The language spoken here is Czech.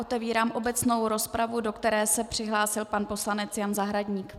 Otevírám obecnou rozpravu, do které se přihlásil pan poslanec Jan Zahradník.